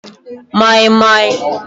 moi moi